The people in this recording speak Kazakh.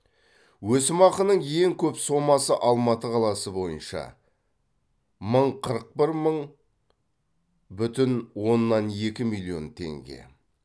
өсімақының ең көп сомасы алматы қаласы бойынша мың қырық бір мың бүтін оннан екі миллион теңге